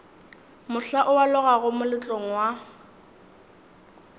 mohla o alogago moletlong wa